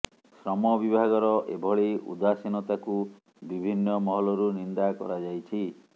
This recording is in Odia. ଶ୍ରମ ବିଭାଗର ଏଭଳି ଉଦାସୀନତାକୁ ବିଭିନ୍ନ ମହଲରୁ ନିନ୍ଦା କରାଯାଇଛି